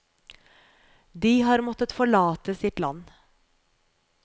De har måttet forlate sitt land.